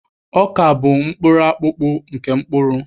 Ọka bụ mkpụrụakụkpụ nke mkpụrụ